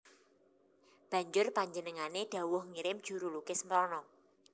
Banjur panjenengané dhawuh ngirim juru lukis mrana